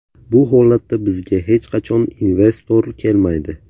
Bu holatda bizga hech qachon investor kelmaydi.